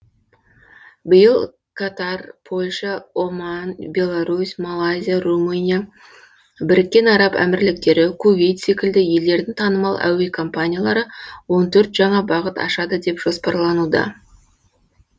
биыл катар польша оман беларусь малайзия румыния біріккен араб әмірліктері кувейт секілді елдердің танымал әуе компаниялары он төрт жаңа бағыт ашады деп жоспарлануда